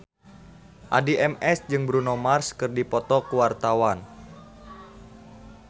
Addie MS jeung Bruno Mars keur dipoto ku wartawan